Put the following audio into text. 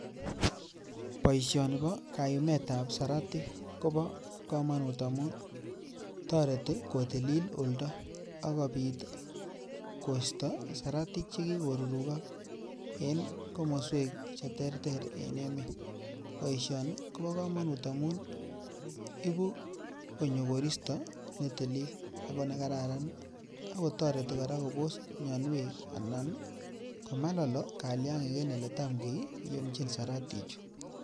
Boishoni bo kayumet ab siratik kobo komonut amun toretii kotilil oldo akopit koisto siratik che kikorurukok en komoswek che terter en emet, boishoni kobo komonut amun ibuu konyo koristo netilil ako nekararan akotoretii koraa kobos mioniwek ana komalolo kalyakik en eletam kiyumchin siratichu